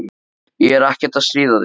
Ég er ekkert að stríða þér.